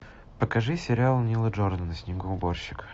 покажи сериал нила джордана снегоуборщик